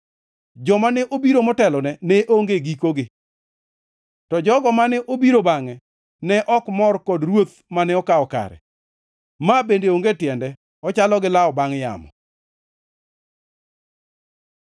Joma ne obiro motelone ne onge gikogi. To jogo mane obiro bangʼe ne ok mor kod ruoth mane okawo kare. Ma bende onge tiende, ochalo gi lawo bangʼ yamo.